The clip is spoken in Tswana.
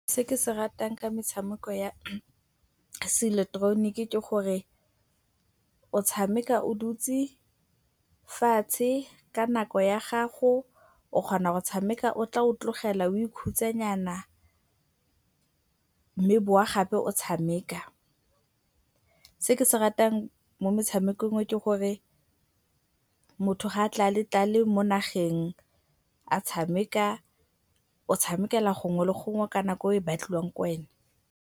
Se ke se ratang ka metshameko ya seileketeroniki ke gore o tshameka o dutse fatshe ka nako ya gago. O kgona go tshameka o tla o tlogela, o ikhutsanyana, ebe o bowa gape o tshameka. Se ke se ratang mo metshamekong o ke gore motho ga a tlalatlale mo nageng a tshameka, o tshamekela gongwe le gongwe ka nako e e batliwang ke wena.